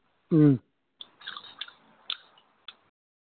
ഉം